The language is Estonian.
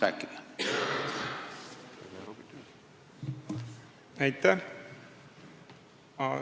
Aitäh!